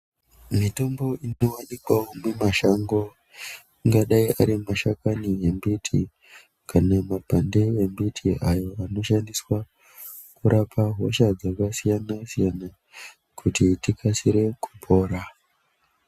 Mitombo ngawanikwawo mumashango ingadayi iri mashakani embiti kana mapande embiti ayo anoshandiswa kurapa hosha dzakasiyana siyana kuti tikasire kupona.